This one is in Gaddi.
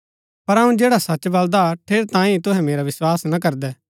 पर अऊँ जैडा सच बलदा ठेरैतांये ही तूहै मेरा विस्वास ना करदै